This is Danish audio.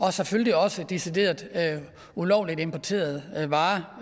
er selvfølgelig også decideret ulovligt importeret varer